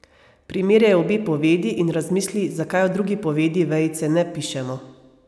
Primerjaj obe povedi in razmisli, zakaj v drugi povedi vejice ne pišemo.